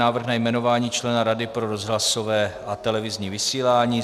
Návrh na jmenování člena Rady pro rozhlasové a televizní vysílání